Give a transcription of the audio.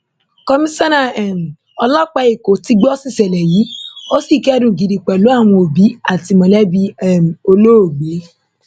komisanna um ọlọpàá èkó ti gbó síṣẹlẹ yìí ó sì kẹdùn gidi pẹlú àwọn òbí àti mọlẹbí um olóògbé